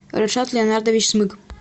ришат леонардович смык